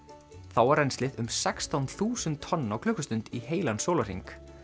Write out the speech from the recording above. þá var rennslið um sextán þúsund tonn á klukkustund í heilan sólarhring